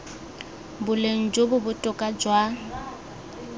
boleng jo bo botoka jwa